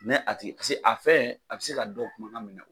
Nɛ a tigi paseke a fɛn a bɛ se ka dɔ kumakan mina.